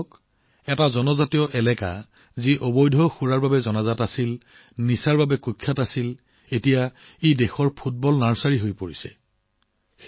আপুনি ভাবিছে অবৈধ সুৰাৰ বাবে পৰিচিত ড্ৰাগছৰ বাবে কুখ্যাত জনজাতীয় অঞ্চল এতিয়া দেশৰ ফুটবল নাৰ্চাৰী হৈ পৰিছে